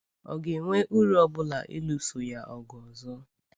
Ọ̀ ga-enwe uru ọ bụla ịlụso ya ọgụ ọzọ?